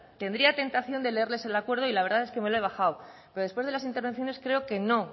tendría tentación de leerles el acuerdo y la verdad es que me lo he bajado pero después de las intervenciones creo que no